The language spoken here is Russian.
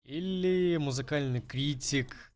или музыкальный критик